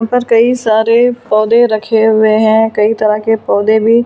ऊपर कई सारे पौधे रखे हुए हैं कई तरह के पौधे भी ला --